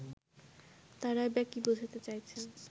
তারাই বা কি বোঝাতে চাইছেন